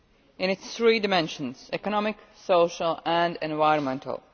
in its three dimensions economic, social and environmental.